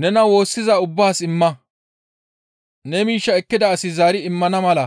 «Nena woossiza ubbaas imma; ne miishshaa ekkida asi zaari immana mala